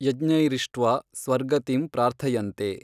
ಯಜ್ಞೈರಿಷ್ಟ್ವಾ ಸ್ವರ್ಗತಿಂ ಪ್ರಾರ್ಥಯನ್ತೇ।